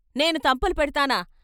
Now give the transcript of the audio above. "నేను తంపులు పెడ్తానా?